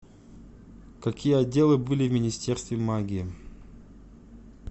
какие отделы были в министерстве магии